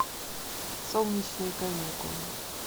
солнечные каникулы